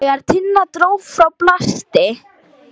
Hann segir að erindin verði mörg.